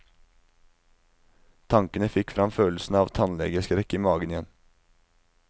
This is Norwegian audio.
Tankene fikk fram følelsen av tannlegeskrekk i magen igjen.